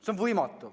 See on võimatu.